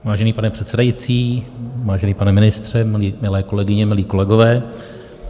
Vážený pane předsedající, vážený pane ministře, milé kolegyně, milí kolegové.